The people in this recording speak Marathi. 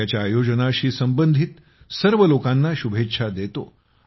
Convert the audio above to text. मी त्याच्या आयोजनाशी संबंधित सर्व लोकांना शुभेच्छा देतो